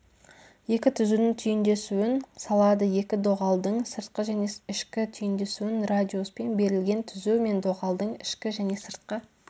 екі түзудің түйіндесуін салады екі доғалдың сыртқы және ішкі түйіндесуін радиуспен берілген түзу мен доғалдың ішкі және сыртқы